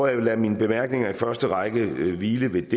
jeg vil lade min bemærkninger i første række hvile ved